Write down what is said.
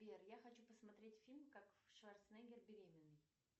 сбер я хочу посмотреть фильм как шварценеггер беременный